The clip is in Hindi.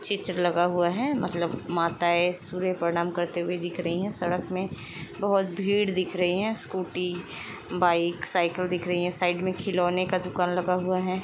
चित्र लगा हुआ है। मतलब माताएँ सूर्य प्रणाम करते हुए दिख रही हैं। सड़क मे बहुत भीड़ दिख रही है। स्कूटी बाइक साइकिल दिख रही हैं। साइड मे खिलौने का दुकान लगा हुआ है।